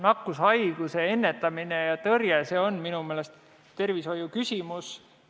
Nakkushaiguse ennetamine ja tõrje on minu meelest tervishoiuküsimus.